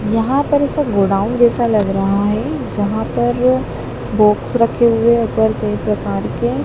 यहां पर ऐसा गोदाम जैसा लग रहा है जहां पर बॉक्स रखे हुए कई प्रकार के--